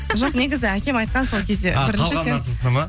жоқ негізі әкем айтқан сол кезде